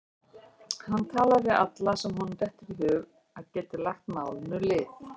Hann talar við alla sem honum dettur í hug að geti lagt málinu lið.